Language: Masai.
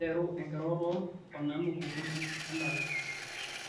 nteru enkiroroto o nanu kuhusu endala